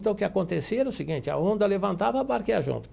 Então, o que acontecia era o seguinte, a onda levantava, a barca ia junto.